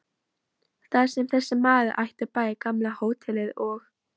Þar sem þessi maður átti bæði gamla hótelið og